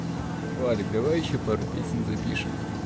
валик давай ещё пару песен запишем